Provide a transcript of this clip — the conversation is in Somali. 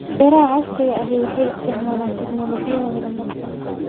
Beeraha casriga ahi waxay isticmaalaan tignoolajiyada horumarsan.